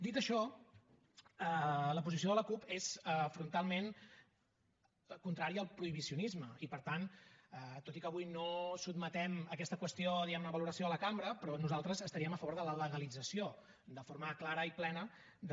dit això la posició de la cup és frontalment contrària al prohibicionisme i per tant tot i que avui no sotmetem aquesta qüestió diguem ne a valoració de la cambra però nosaltres estaríem a favor de la legalització de forma clara i plena de